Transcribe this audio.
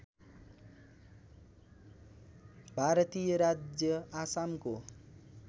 भारतीय राज्य आसामको